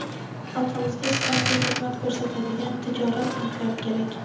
Xalqimizga sifatli xizmat ko‘rsatadigan tijorat banklari kerak.